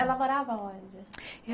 Ela morava onde?